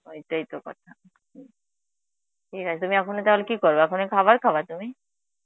ওইটাই তো কথা, ঠিক আছে তুমি এখনি তাহলে কী করবা, এখনি খাবার খাবা তুমি?